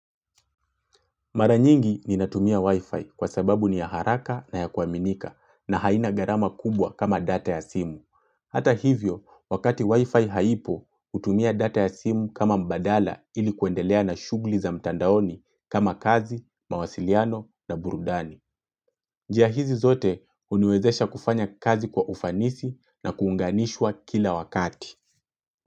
Mara nyingi ninatumia wifi kwa sababu ni ya haraka na ya kuaminika na haina gharama kubwa kama data ya simu. Hata hivyo, wakati wifi haipo, hutumia data ya simu kama mbadala ili kuendelea na shughuli za mtandaoni kama kazi, mawasiliano na burudani. Njia hizi zote huniwezesha kufanya kazi kwa ufanisi na kuunganishwa kila wakati.